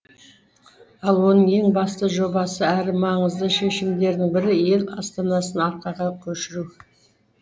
ал оның ең басты жобасы әрі маңызды шешімдерінің бірі ел астанасын арқаға көшіру